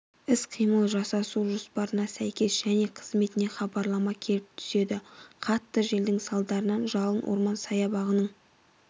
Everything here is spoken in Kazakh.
іс-қимыл жасасу жоспарына сәйкес және қызметіне хабарлама келіп түседі қатты желдің салдарынан жалын орман саябағының